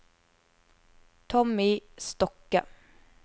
Tommy Stokke